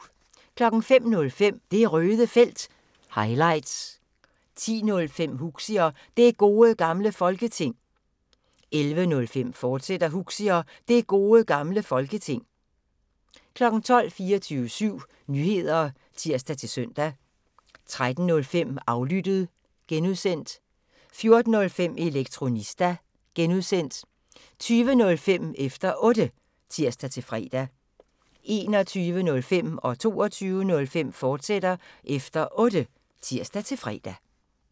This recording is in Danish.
05:05: Det Røde Felt – highlights 10:05: Huxi og Det Gode Gamle Folketing 11:05: Huxi og Det Gode Gamle Folketing, fortsat 12:00: 24syv Nyheder (tir-søn) 13:05: Aflyttet (G) 14:05: Elektronista (G) 20:05: Efter Otte (tir-fre) 21:05: Efter Otte, fortsat (tir-fre) 22:05: Efter Otte, fortsat (tir-fre)